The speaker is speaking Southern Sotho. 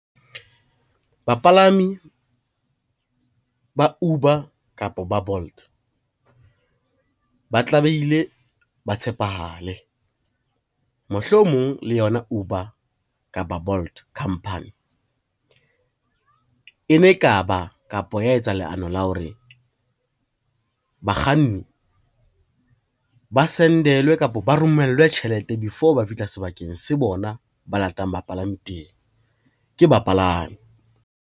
Bapalami ba Uber kapa ba Bolt ba tlamehile ba tshepahale. Mohlomong le yona Uber kapa Bolt khampani, e ne e ka ba kapa ya etsa leano la hore bakganni ba send-elwe kapa ba romellwe tjhelete before ba fihla sebakeng se bona ba latang bapalami teng ke bapalami.